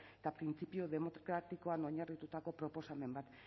eta printzipio demokratikoan oinarritutako proposamen bat